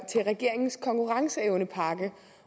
til regeringens konkurrenceevnepakke